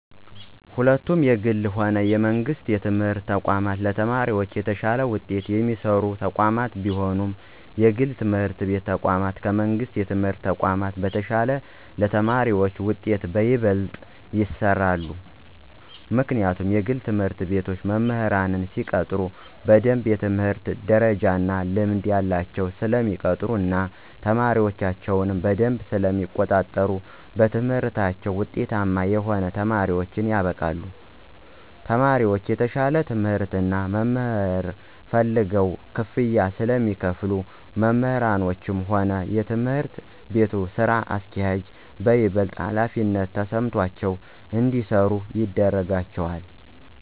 ሁለቱም የግልም ሆነ የመንግስት የትምህርት ተቋማት ለተማሪዎቻቸው የተሻለ ውጤት የሚሰሩ ተቋማት ቢሆኑም የግል የትምህርት ተቋማት ከመንግሥት የትምህርት ተቋም በተሻለ ለተማሪዎቻቸው ውጤት በይበልጥ ይሰራሉ። ምክንያቱም የግል ትምህርት ቤቶች መምህራንን ሲቀጥሩ በደምብ የትምህርት ደረጃ እና ልምድ ያላቸውን ስለሚቀጥሩ እና ተማሪዎቻቸውንም በደምብ ስለሚቆጣጠሩ በትምህርታቸው ውጤታማ የሆኑ ተማሪዎችን ያበቃሉ። ተማሪዎቹም የተሻለ ትምህርት እና መምህር ፈልገው ክፍያ ስለሚከፍሉ መምህሮቹም ሆኑ የትምህርት ቤቱ ስራ አስኪያጆች በይበልጥ ሀላፊነት ተሰምቷቸው እንዲሰሩ ያደርጋቸዋል።